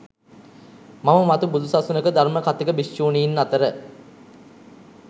මම මතු බුදු සසුනක ධර්ම කථික භික්ෂුණීන් අතර